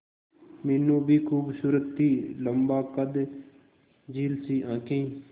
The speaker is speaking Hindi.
मीनू भी खूबसूरत थी लम्बा कद झील सी आंखें